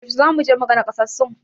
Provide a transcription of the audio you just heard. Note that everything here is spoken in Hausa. Yaushe zamu je muga nakasassun?